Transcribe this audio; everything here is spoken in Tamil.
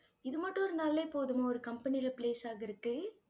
இது மட்டும் இருந்தாலே போதுமா ஒரு company ல place ஆகுறதுக்கு?